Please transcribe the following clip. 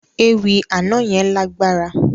Ewì àná yẹn lágbára.